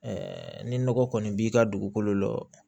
ni nɔgɔ kɔni b'i ka dugukolo la